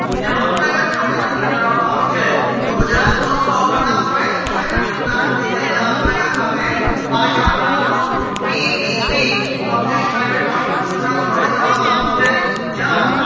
જામનગર ખાતે કરવામાં આવી છે તો ગુજરાત નો સૌપ્રથમ waste to energy plant જે છે જામનગર ખાતે આ યાદ રાખજો bpp public private partnership ના દ્વારા કરવામાં આવ્યો છે જ્યાં